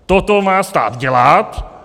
Toto má stát dělat.